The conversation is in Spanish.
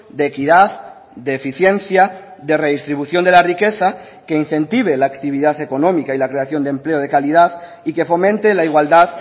de equidad de eficiencia de redistribución de la riqueza que incentive la actividad económica y la creación de empleo de calidad y que fomente la igualdad